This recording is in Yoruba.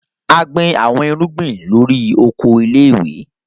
A gbin awọn irugbin lori oko ile-iwe